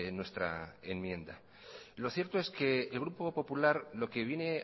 nuestra enmienda lo cierto es que el grupo popular lo que viene